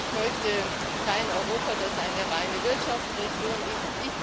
Ich möchte kein Europa, das eine reine Wirtschaftsregion ist.